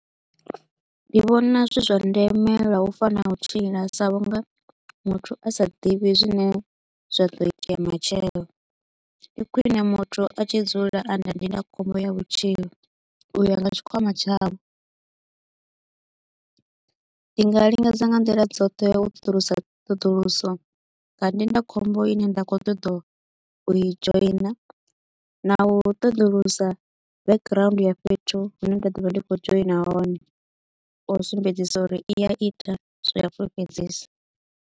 Ndi vhona zwi zwa ndeme lwa u fa na u tshila sa vhunga muthu a sa ḓivhi zwine zwa ḓo itea matshelo. Ndi khwine muthu a tshi dzula a na ndindakhombo ya vhutshilo u ya nga tshikwama tshawe, ndi nga lingedza nga nḓila dzoṱhe u ṱoḓulusa ṱhoduluso nga ndindakhombo i ne nda kho u ṱoḓa u i joiner na u ṱoḓulusa background ya fhethu hu ne nda ḓo vha ndi kho u joiner hone u sumbedzisa uri i a ita zwe ya fulufhedzisa.